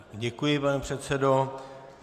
Děkuji, pane předsedo.